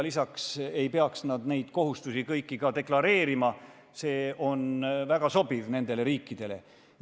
Lisaks ei pea nad kõiki neid kohustusi deklareerima ja see on nendele riikidele väga sobiv.